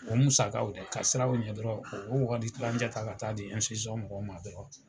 O musakaw dɛ, ka sira o ɲɛ dɔrɔn u b'a wari kilancɛ ta ka taa di mɔgɔw ma dɔrɔn.